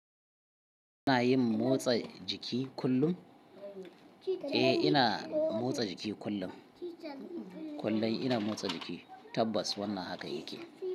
Kana yin motsa jiki kullum? Eh, ina motsa jiki kullun. Kullun ina motsa jiki, tabbas wannan haka yake.